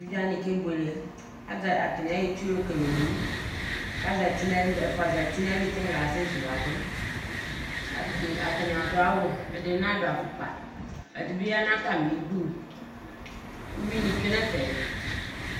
Eviɖze wani ke buele Atani ayɔ itsu yɔ lele owu k'azati n'ayili, ɛfua zati n'ayili k'ɛla ɛsɛ zuladʋ Atani adʋ awu, ɛdini na dʋ afʋkpa, ɛdi bi ya n'atamidu, uyui ni tsoe n'ɛfɛ